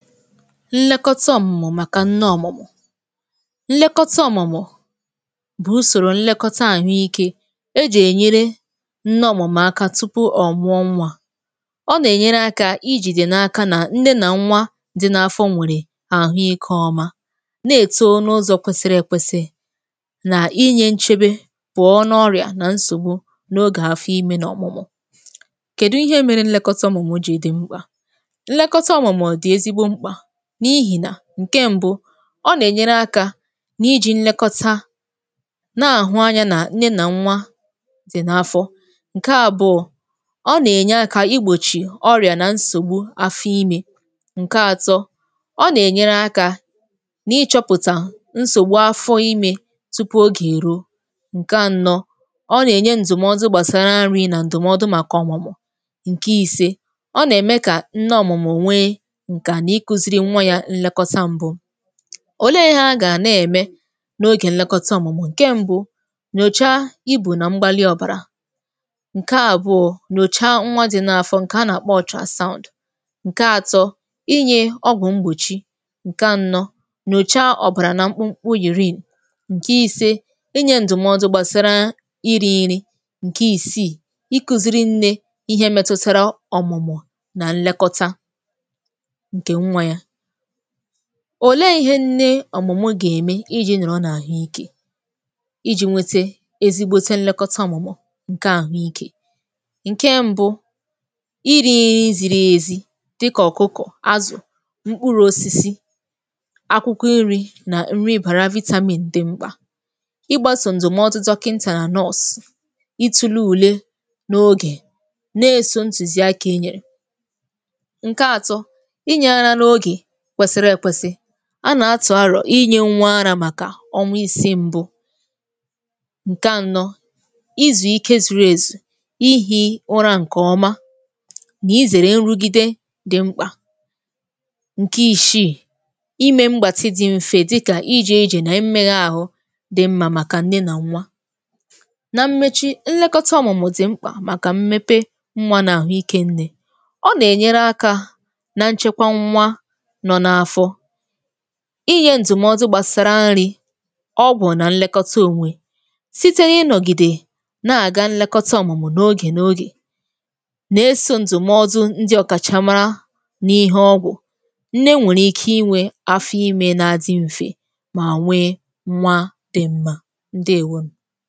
nlekọta ọ̀mụ̀mụ̀ màkà nne ọ̀mụ̀mụ̀ nlekọta ọ̀mụ̀mụ̀ bụ̀ usòrò nlekọta àhụ ikē ejì ènyere nne ọ̀mụ̀mụ̀ aka tụpụ ọ̀ mụọ nwā ọ nà-ènyere akā ijìde n’aka nà nne nà nwa di n’afọ nwèrè àhụ ikē ọma na-èto n’ụzọ̀ kwesiri èkwesi nà inyē nchebe pụọ n’ọrịà nà nsògbu n’ogè afọ imē nà ọ̀mụ̀mụ̀ kèdu ihe mere nlekọta ọ̀mụ̀mụ̀ jì di mkpà nlekọta ọ̀mụ̀mụ̀ di ezigbo mkpà n’ihi nà ǹke mbu ọ nà-ènyere akā n’ijī nlekọta na-àhụ anyā nà nne nà nwa dì n’afọ ǹkea bụ̀ ọ nà-ènye akā igbòchi ọrịà na nsògbu afọ imē ǹke atọ ọ nà-ènyere akā na-ịchọ̄pụ̀tà nsògbu afọ imē tupu ogè èruo ǹke anọ̄ ọ nà-ènye ndùmọdụ̀ gbàsara nri nà ndụ̀mọdụ̀ màkà ọ̀mụ̀mụ̀ ǹke ìse ọ nà-ème kà nne ọ̀mụ̀mụ̀ nwee ǹkà n’ịkụ̄ziri nwa ya nlekọta mbū òlee ihe agà na-ème n’ogè nlekọta ọ̀mụ̀mụ̀ ǹke mbū nyòcha ibù nà mbalị ọbàrà ǹke àbụọ nyòcha nwa di n’afọ ǹkè a nà-àkpọ ultra sound ǹke atọ inyē ọgwụ̀ mgbòchị ǹke anọ nyòcha ọ̀bàrà nà mkpumkpu urine ǹke ise inyē ǹdụ̀mọdụ gbàsara irī nri ǹkè ìsii ịkụ̄ziri nnē ihe metutara ọ̀mụ̀mụ̀ nà nlekọta ǹkè nwā ya òlee ihe nne ọ̀mụ̀mụ̀ gà-ème iji nọ̀rọ n’àhụ ikē ijī nwete ezigbote nlekọta ọ̀mụ̀mụ̀ ǹke àhụ ikē ǹke mbū irī nri ziri èzi dịkà ọ̀kụkọ̀, azụ̀ mkpuru osisi akwụkwọ nrī nà nrī bàrà vitamin di mkpà ịgbāsa ndụ̀mọ̀dụ̀ dokintà nurse itūle ùle n’ogè na-èso ntùziakā inye ǹke atọ inyē ara n’ogè kwesiri èkwesi a nà-àtụ arọ̀ inyē nwa arā màkà ọnwa isi mbū ǹke anọ izù ikē zuru èzù ihī ụra ǹkè ọma nà ezèrè nrugide di mkpà ǹkè ishii imē mgbàtị di mfe dịkà ijē ijè nà imēgha àhụ di mmā màkà nne na nwa nà mmechi nlekọta ọ̀mụ̀mụ̀ dì mkpà màkà mmepe nwā nà àhụ ikē nne ọ nà-ènyere akā na nchekwa nwa nọ̀ n’afọ inyē ǹdụ̀mọ̀dụ̀ gbàsara nrī ọ bụ̀ na nlekọta ònwe site na ịnọ̀gìdè na àga nlekọta ọ̀mụ̀mụ̀ n’ogè n’ogè nà-èso ǹdụ̀mọ̀dụ̀ ndị ọ̀kàcha mara n’ihe ọgwụ̀ nne nwèrè ikē inwē afọ imē na-adị mfe mà nwee nwa di mmā ǹdewonù